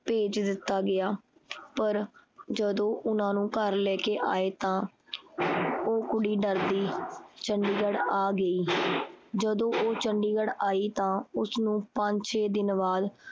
ਭੇਜ ਦਿੱਤਾ ਗਿਆ ਪਰ ਜਦੋਂ ਉਹਨਾਂ ਨੂੰ ਘਰ ਲੈ ਕੇ ਆਏ ਤਾਂ ਉਹ ਕੁੜੀ ਡਰਦੀ ਚੰਡੀਗੜ੍ਹ ਆ ਗਈ। ਜਦੋਂ ਉਹ ਚੰਡੀਗੜ੍ਹ ਈ ਤਾਂ ਉਸਨੂੰ ਪੰਜ ਛੇ ਦਿਨ ਬਾਦ